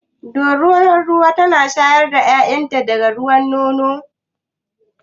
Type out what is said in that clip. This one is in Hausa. Dorunar ruwa tana shayar da ƴaƴan ta da ruwan nono?